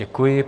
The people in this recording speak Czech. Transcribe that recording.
Děkuji.